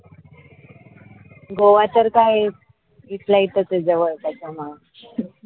गोवा सारखं आहे इथल्या इथंच आहे जवळच त्याच्यामुळं